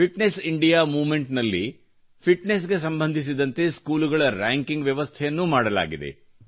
fitness India movement ನಲ್ಲಿ fitness ಗೆ ಸಂಬಂಧಿಸಿದಂತೆ ಸ್ಕೂಲುಗಳ ರ್ಯಾಂಕಿಂಗ್ ವ್ಯವಸ್ಥೆಯನ್ನೂ ಮಾಡಲಾಗಿದೆ